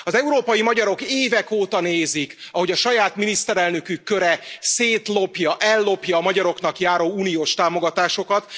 Az európai magyarok évek óta nézik, ahogy a saját miniszterelnökük köre szétlopja, ellopja a magyaroknak járó uniós támogatásokat.